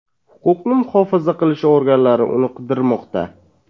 Huquqni muhofaza qilish organlari uni qidirmoqda.